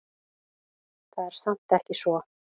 Það er samt ekki svo.